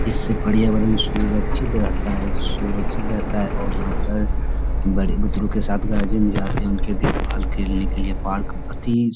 इससे पर्यावरण सुरक्षित रहता है सुरक्षित रहता है और यहाँ पर बड़े बुजुर्गों के साथ जिम जा रहे है उनके देखभाल करने के लिए पार्क अति --